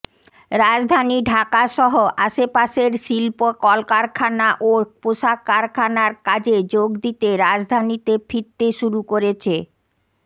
রাজধানী ঢাকাসহ আশপাশের শিল্প কলকারখানা ও পোশাক কারখানার কাজে যোগ দিতে রাজধানীতে ফিরতে শুরু করেছে